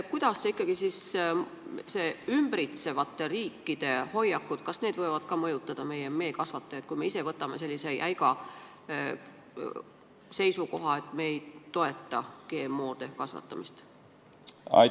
Kuidas ikkagi ümbritsevate riikide hoiakud võivad mõjutada meie meekasvatajaid, kui me ise võtame sellise jäiga seisukoha, et me ei toeta GMO-de kasvatamist?